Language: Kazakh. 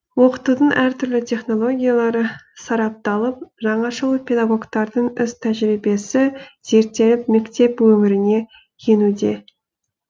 оқытудың әртүрлі технологиялары сарапталып жаңашыл педагогтардың іс тәжірибесі зерттеліп мектеп өміріне енуде